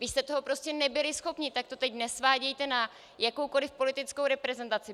Vy jste toho prostě nebyli schopni, tak to teď nesvádějte na jakoukoli politickou reprezentaci.